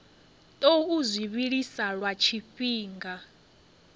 tou zwi vhilisa lwa tshifhinga